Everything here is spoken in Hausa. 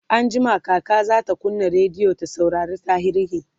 anjima kaka zata kunna rediyo ta saurari tarihi